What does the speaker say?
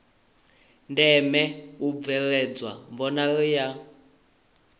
ndeme u bveledzwa mbonalelo ya